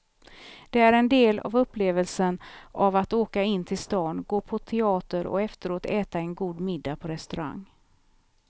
Det är en del av upplevelsen av att åka in till staden, gå på teater och efteråt äta en god middag på restaurang.